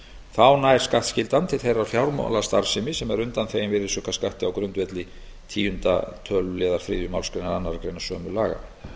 þá nær skattskyldan til þeirrar fjármálastarfsemi sem er undanþegin virðisaukaskatti á grundvelli tíunda töluliður þriðju málsgrein annarrar greinar sömu laga